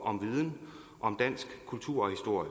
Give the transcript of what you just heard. om viden om dansk kultur